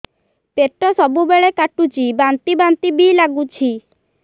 ପେଟ ସବୁବେଳେ କାଟୁଚି ବାନ୍ତି ବାନ୍ତି ବି ଲାଗୁଛି